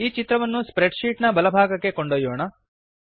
ಈ ಚಿತ್ರವನ್ನು spreadsheet ನ ಬಲ ಭಾಗಕ್ಕೆ ಕೊಂಡೊಯ್ಯೋಣ